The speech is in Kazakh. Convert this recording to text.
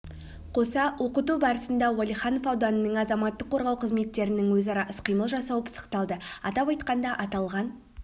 қоса оқыту барысында уәлиханов ауданының азаматтық қорғау қызметтерінің өзара іс-қимыл жасауы пысықталды атап айтқанда аталған